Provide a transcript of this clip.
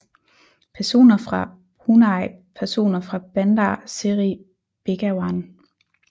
Personer fra Brunei Personer fra Bandar Seri Begawan